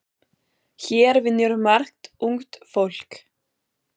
Hér vinnur margt ungt fólk.